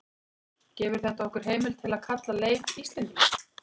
gefur þetta okkur heimild til að kalla leif íslending